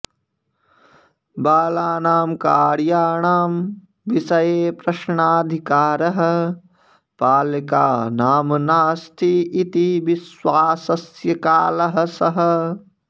बालानां कार्याणां विषये प्रश्नाधिकारः पालकानां नास्ति इति विश्वासस्य कालः सः